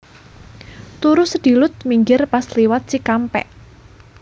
Turu sedilut minggir pas liwat Cikampek